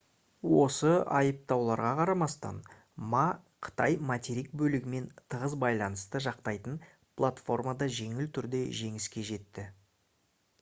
осы айыптауларға қарамастан ма қытай материк бөлігімен тығыз байланысты жақтайтын платформада жеңіл түрде жеңіске жетті